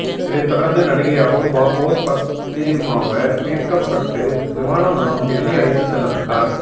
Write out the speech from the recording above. இதைத் தொடர்ந்து நடிகை அபூர்வா போஸ் பத்திரிமாக மீட்கப்பட்டு விமானம் மூலம் டெல்லி அழைத்து செல்லப்பட்டார்